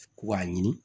Ko k'a ɲini